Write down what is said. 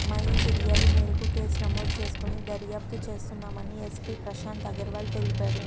అమ్మాయి ఫిర్యాదు మేరకు కేసు నమోదు చేసుకొని దర్యాప్తు చేస్తున్నామని ఎస్పి ప్రశాంత్ అగర్వాల్ తెలిపాడు